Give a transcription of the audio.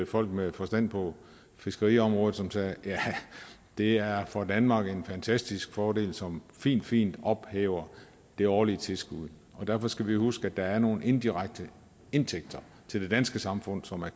folk med forstand på fiskeriområdet som sagde det er for danmark en fantastisk fordel som fint fint ophæver det årlige tilskud derfor skal vi jo huske at der er nogle indirekte indtægter til det danske samfund som er